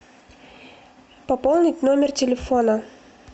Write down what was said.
пополнить номер телефона